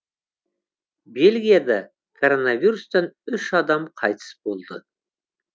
бельгияда коронавирустан үш адам қайтыс болды